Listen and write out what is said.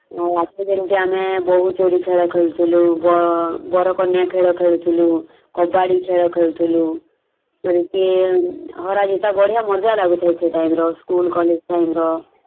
ଆଗୁରୁ ଯେମିତି ଆମେ ବୋହୁ ଚୋରି ଖେଳ ଖେଳୁଥିଲୁ ବ୍ ବର କନ୍ୟା ଖେଳ ଖେଳୁଥିଲୁ କବାଡି ଖେଳ ଖେଳୁଥିଲୁ ଏମିତି ବଢିଆ ମଜା ଲାଗୁଥିଲା ସେଇ time ର school college time ର ।